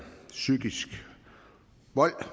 psykisk vold